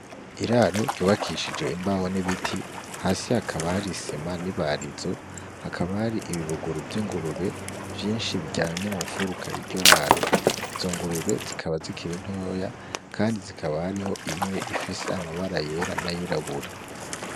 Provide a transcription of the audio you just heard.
Iraro ryubakishije imbaho n'ibiti hasi hakaba hari isima n'ibarizo hakaba hari ibibuguru vy'ingurube vyinshi biryamye mu mufuruka y'iryo raro izo ngurube zikaba zikir’intoya, kandi zikaba hariho imwe ifise amabara yera n'ayirabura.